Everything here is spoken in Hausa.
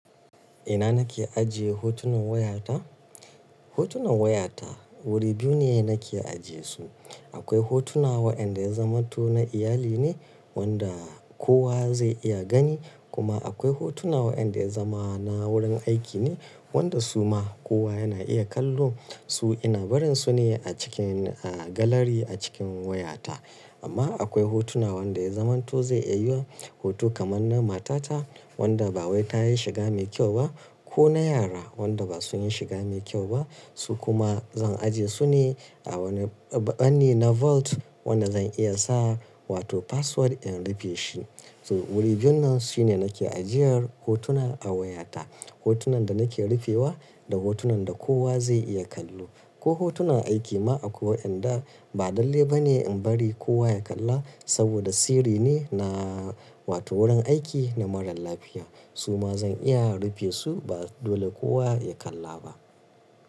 Ina nake ajiye hotunan wayata? Hotunan wayata wuri biyu ne nake ajiye su. Akwai hotuna waɗanda ya zama to na iyali ne wanda kowa zai iya gani, kuma akwai hotuna waɗanda ya zama na wurin aiki ne wanda su ma kowa yana iya kallo su ina barin su ne a cikin, a galari a cikin wayata. Amma akwai hotuna wanda ya zamanto zai iya hoto kamar na matata wanda ba wai ta yi shiga mai kyau ba ko na yara wanda ba su yi shiga mai kyau ba. Su kuma zan ajiye su ne a wani ɓanni na vault wanda zan iya sa wato password in rufe shi. So wuri biyun nan shine nake ajiyar hotuna a wayata. Hotunan da nake rufewa da hotunan da kowa zai iya kallo ko hotunan aiki ma akwai waɗanda ba dallai ba ne in bari kowa ya kalla saboda sirri ne na wato wurin aiki na marar lafiya. Su ma zan iya rufe su ba dole kowa ya kalla ba.